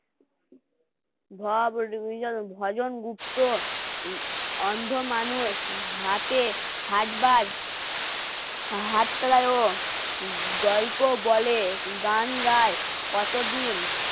ভজন গুপ্ত উম অন্ধ মানুষ আছে হাতে হাত হাত তলায় ও গল্প বলে গান গায় কতদিন?